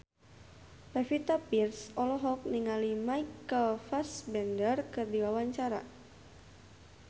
Pevita Pearce olohok ningali Michael Fassbender keur diwawancara